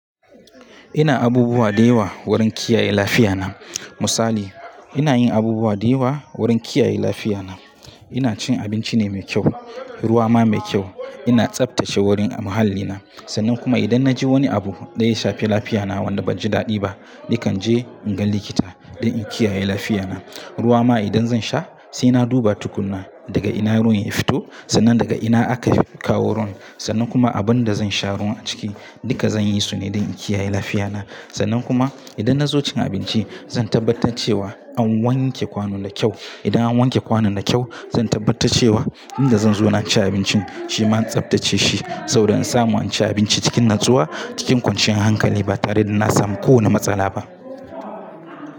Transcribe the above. Ina abubuwa da yawa wurin kiyaye lafiya na. Misali ina yin abubuwa da yawa wurin kiyaye lafiya na. Ina cin abinci ne mai kyau, ruwa ma mai kyau. Ina tsaftace wurin mahallina sannan kuma idan na ji wani abu da ya shafi lafiya na wanda ban ji daɗi ba nakan je in ga likita don in kiyaye lafiya na. Ruwa ma idan zan sha sai na duba tukuna daga ina ruwan ya fito, sannan daga ina aka kawo ruwan sannan kuma abin da zan sha ruwan a ciki duka zan yi su ne don in kiyaye lafiya na. Sannan kuma idan na zo cin abinci zan tabbatar cewa an wanke kwanon da kyau. Idan an wanke kwanon da kyau zan tabbatar cewa inda zan zo na in ci abincin shi ma an tsaftace shi saboda in samu in ci abinci cikin natsuwa, cikin kwanciyar hankali ba tare da na samu kowane matsala ba.